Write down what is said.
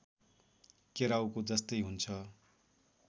केराउको जस्तै हुन्छ